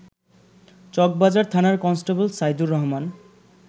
চকবাজার থানার কনস্টেবল সাইদুর রহমান